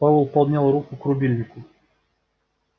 пауэлл поднял руку к рубильнику